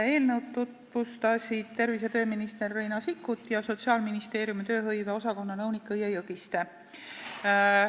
Eelnõu tutvustasid tervise- ja tööminister Riina Sikkut ning Sotsiaalministeeriumi tööhõive osakonna nõunik Õie Jõgiste.